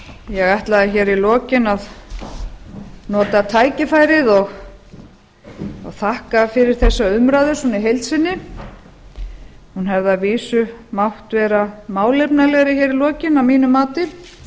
ég ætlaði í lokin að nota tækifærið og þakka fyrir þessa umræðu í heild sinni hún hefði að vísu mátt vera málefnalegri í lokin að mínu mati